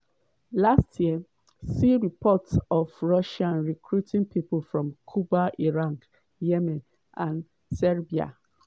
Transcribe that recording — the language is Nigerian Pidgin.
last year see reports of russia recruiting people from cuba iraq yemen and serbia.